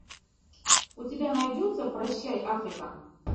у тебя найдется прощай африка